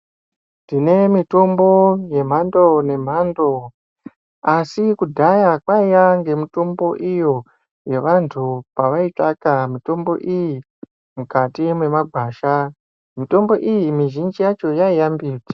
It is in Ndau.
Tine mitombo yemhando nemhando asi kudhaya kwaiya ngemitombo iyo kwevantu kwavaitsvaka mutombo iyi mukati mwemagwasha mutombo iyi mizhinji yavho yaiya mbiti.